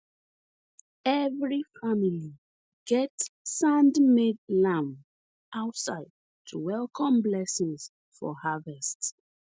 every family get sandmade lamp outside to welcome blessings for harvest